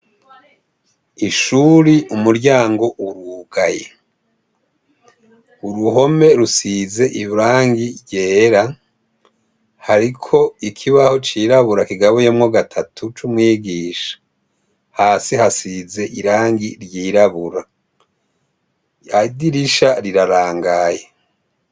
Ishuri, umuryango urugaye. Uruhome rusize irangi ryera. Hariko ikibaho cirabura kigabuyemwo gatatu cumwigisha. Hasi hasize irangi ryirabura, idirisha rirarangaye.